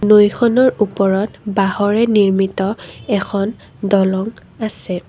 নৈখনৰ ওপৰত বাঁহৰে নিৰ্মিত এখন দলং আছে।